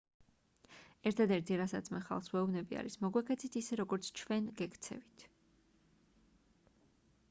ერთადერთი რასაც მე ხალხს ვეუბნები არის მოგვექცეთ ისე როგორც ჩვენ გექცევით